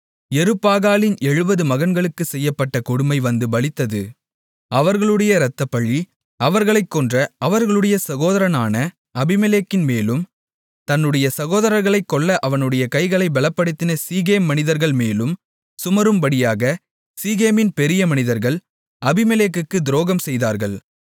யெருபாகாலின் 70 மகன்களுக்குச் செய்யப்பட்ட கொடுமை வந்து பலித்தது அவர்களுடைய இரத்தப்பழி அவர்களைக் கொன்ற அவர்களுடைய சகோதரனான அபிமெலேக்கின்மேலும் தன்னுடைய சகோதரர்களைக் கொல்ல அவனுடைய கைகளை பெலப்படுத்தின சீகேம் மனிதர்கள் மேலும் சுமரும்படியாகச் சீகேமின் பெரிய மனிதர்கள் அபிமெலேக்குக்கு துரோகம் செய்தார்கள்